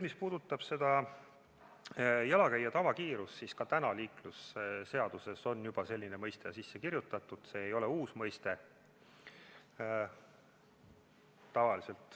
Mis puudutab jalakäija tavakiirust, siis ka täna on liiklusseadusesse selline mõiste sisse kirjutatud, see ei ole uus mõiste.